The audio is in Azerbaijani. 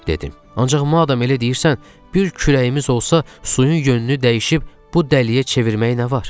Ancaq madam elə deyirsən, bir kürəyimiz olsa, suyun yönünü dəyişib bu dəliyə çevirmək nə var?